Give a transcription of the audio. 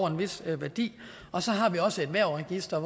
en vis værdi og så har vi også et hvervregister